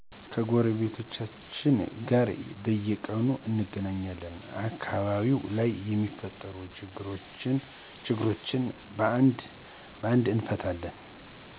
ከጎረቤቶቻችን ጋር በየቁኑ እንገናኛልን አከባቢው ላይ የሚፈጠሩ ችግሮችን በአንድ እንፈታለን